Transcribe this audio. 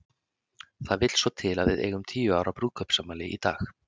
Það vill svo til að við eigum tíu ára brúðkaupsafmæli í dag.